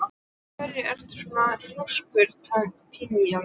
Af hverju ertu svona þrjóskur, Tíalilja?